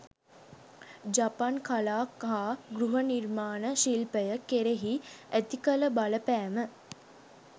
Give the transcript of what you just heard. ජපන් කලා හා ගෘහ නිර්මාණ ශිල්පය කෙරෙහි ඇති කළ බලපෑම